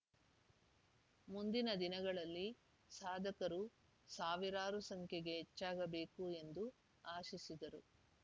ಮುಂದಿನ ದಿನಗಳಲ್ಲಿ ಸಾಧಕರು ಸಾವಿರಾರು ಸಂಖ್ಯೆಗೆ ಹೆಚ್ಚಾಗಬೇಕು ಎಂದು ಆಶಿಸಿದರು